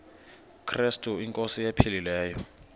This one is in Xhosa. krestu inkosi ephilileyo